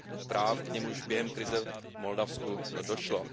práv, k nimž během krize v Moldavsku došlo.